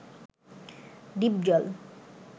Dipjol